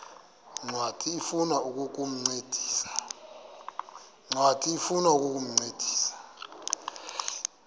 ncwadi ifuna ukukuncedisa